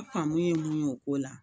Faamu ye mun ye o ko la